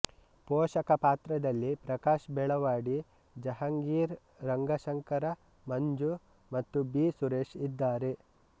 ಪೋಷಕ ಪಾತ್ರದಲ್ಲಿ ಪ್ರಕಾಶ್ ಬೆಳವಡಿ ಜಹಾಂಗೀರ್ ರಂಗಶಂಕರ ಮಂಜು ಮತ್ತು ಬಿ ಸುರೇಶ ಇದ್ದಾರೆ